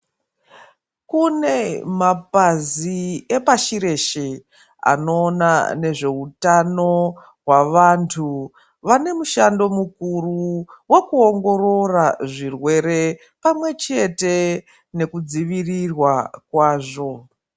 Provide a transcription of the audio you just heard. Kune mapazi epashireshe anoona nezveutano hwavanthu vane mushando mukuru wekuongorora zvirwere pamwe chete nekudzivirirwa kwazvo.